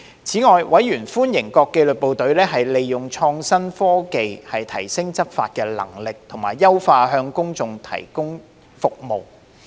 此外，委員歡迎各紀律部隊利用創新科技提升執法能力，以及優化向公眾提供的服務。